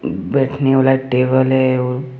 बैठने वाला टेबल है।